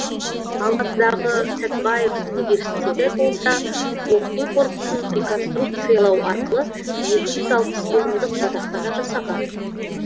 алматыдағы сәтбаев университеті болса оқу корпусын реконструкциялау арқылы екі жүз алпыс орындық жатақхана жасаған